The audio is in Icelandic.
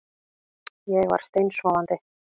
Ég var steinsofandi